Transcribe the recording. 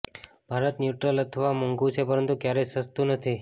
Bharat neutral અથવા મોંઘુ છે પરંતુ ક્યારેય સસ્તું નથી